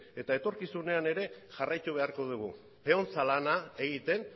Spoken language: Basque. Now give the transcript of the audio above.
eta etorkizunean jarraitu beharko dugu peontza lana egiten